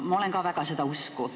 Ma olen ka väga seda usku.